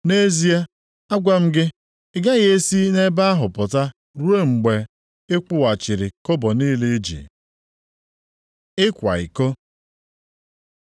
Nʼezie, agwa m gị, ị gaghị e si nʼebe ahụ pụta ruo mgbe ị kwụghachiri kobo niile i ji. + 5:26 Maọbụ, ụgwọ niile Ịkwa iko